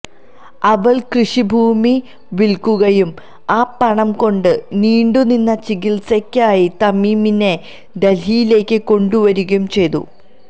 അവൾ കൃഷിഭൂമി വിൽക്കുകയും ആ പണം കൊണ്ട് നീണ്ടുനിന്ന ചികിത്സക്കായി തമീമിനെ ഡൽഹിയിലേക്ക് കൊണ്ടുവരികയും ചെയ്തു